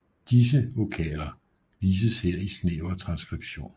Disse vokaler vises her i snæver transskription